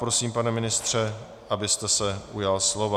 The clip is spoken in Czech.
Prosím, pane ministře, abyste se ujal slova.